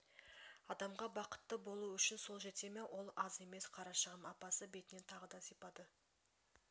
адамға бақытты болу үшін сол жете ме ол аз емес қарашығым апасы бетінен тағы да сипады